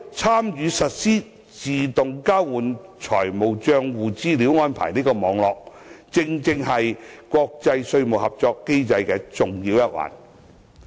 參與實施自動交換資料安排的網絡，正是國際稅務合作機制的重要一環。